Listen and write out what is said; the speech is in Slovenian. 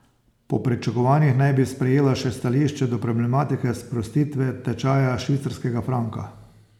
Po pričakovanjih naj bi sprejela še stališče do problematike sprostitve tečaja švicarskega franka.